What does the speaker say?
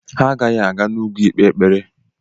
Ha agaghị aga n'ugwu ikpe ekpere.